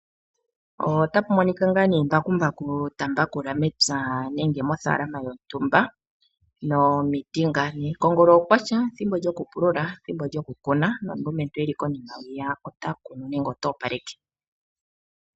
Otapu monika embakumbaku ta mbakula mepya nenge mofalama yontumba. Nomiti nga ne , kongolo okwatya ,ethimbo lyokupulula ,ethimbo lyokukuna nomulumentu eli konima ota kunu nenge ota opaleke.